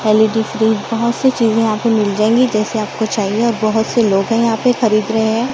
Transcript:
L E D बहुत सी चीजें यहां पे मिल जाएंगी जैसे आपको चाहिए और बहुत से लोग हैं यहां पे खरीद रहे हैं।